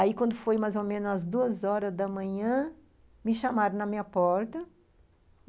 Aí, quando foi mais ou menos as duas horas da manhã, me chamaram na minha porta.